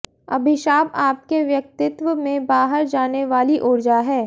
अभिशाप आपके व्यक्तित्व में बाहर जाने वाली ऊर्जा है